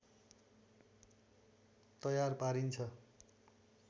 तयार पारिन्छ